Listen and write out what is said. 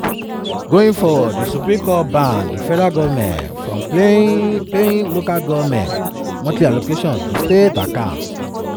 going forward di supreme court ban di federal goment from paying local goment monthly allocation to state accounts.